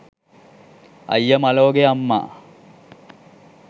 අයිය මලෝ ගේ අම්මා